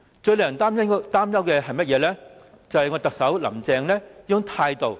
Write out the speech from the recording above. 最令人擔心的是甚麼呢？便是特首林鄭的態度。